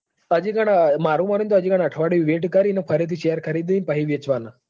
હજી પણ મારું મોનવું કે હજી અઠવાડિયુક wait કરીને એને ફરીથી શેર ખરીદી વેચવાના.